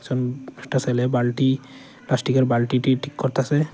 উম একটা সেলে বালটি প্লাস্টিকের বালটিটি ঠিক করতাসে।